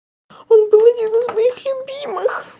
он был один из моих любимых